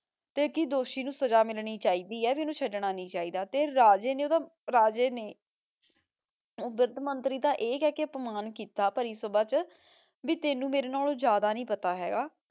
ਤੇ ਕੀ ਦੋਸ਼ੀ ਨੂ ਸਜ਼ਾ ਮਿਲਣੀ ਚੀ ਦੀ ਆਯ ਭੀ ਓਨੁ ਚੜਨਾ ਨਹੀ ਚੀ ਦਾ ਤੇ ਰਾਜੇ ਨੇ ਓਦਾ ਰਾਜੇ ਨੇ ਊ ਵਿਰ੍ਧ ਮੰਤਰੀ ਦਾ ਈਯ ਕਹ ਕੇ ਆਤਮਾਂ ਕੀਤਾ ਭਾਰੀ ਸਬਾਹ ਚ ਭੀ ਤੇਨੁ ਮੇਰੇ ਨਾਲੋਂ ਜਿਆਦਾ ਨਹੀ ਪਤਾ ਹੇਗਾ